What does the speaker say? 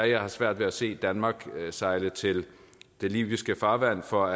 jeg har svært ved at se danmark sejle til det libyske farvand for